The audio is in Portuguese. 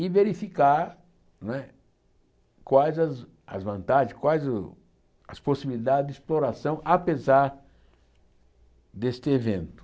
e verificar não é quais as as vantagens, quais as possibilidades de exploração, apesar deste evento.